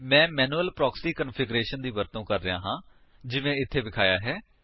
ਮੈਂ manual proxy configuration ਦੀ ਵਰਤੋ ਕਰ ਰਿਹਾ ਹਾਂ ਜਿਵੇਂ ਇੱਥੇ ਵਿਖਾਇਆ ਹੈ